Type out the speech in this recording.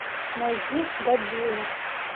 найди годзилла